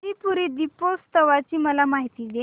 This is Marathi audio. त्रिपुरी दीपोत्सवाची मला माहिती दे